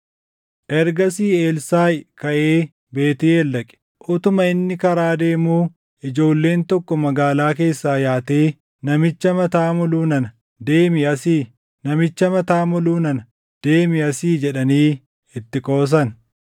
Ergasii Elsaaʼi kaʼee Beetʼeel dhaqe. Utuma inni karaa deemuu ijoolleen tokko magaalaa keessaa yaatee, “Namicha mataa moluu nana deemi asii! Namicha mataa moluu nana deemi asii!” jedhanii itti qoosan.